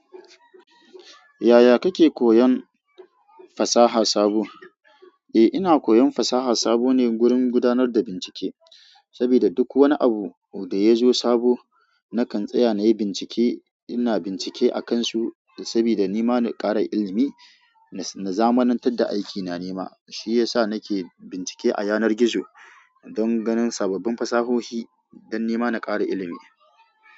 Yaya kake koyon fasaha sabo? Eh ina koyon fasaha sabo ne wurin gudanar da bincike, sabida duk wani abu da yazo sabo nakan tsaya nayi bincike. Ina bincike akan su sabida ni ma na kara ilimi na zamanantar da aiki na nima, shi yasa nake bincike a yanar gizo don ganin sababbin fasahohi don ni ma na kara ilimi.